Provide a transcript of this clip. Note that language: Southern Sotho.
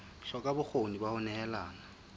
hloka bokgoni ba ho nehelana